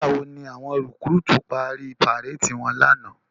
Nigbá wó ni áwòn rikúrútú pári párédi wòn làná?